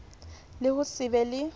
le ho se be le